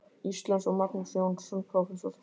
Íslands, og Magnús Jónsson, prófessor.